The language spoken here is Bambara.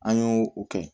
An y'o o kɛ